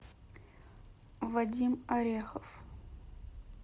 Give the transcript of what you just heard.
вадим орехов